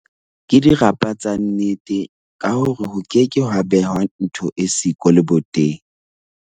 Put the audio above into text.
Ke dirapa tsa nnete ka hore ho keke ha behwa ntho e siko leboteng.